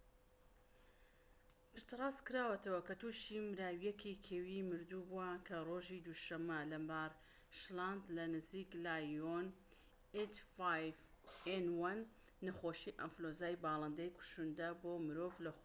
نەخۆشی ئەنفلۆنزای باڵندەی کوشندە بۆ مرۆڤ، h5n1؛ پشتڕاستکراوەتەوە کە تووشی مراوییەکی کێوی مردوو بووە کە ڕۆژی دووشەممە لەمارشلاند لەنزیک لایۆن